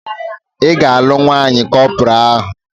Ị ga-alụ nwaanyị kọpọraa ahụ!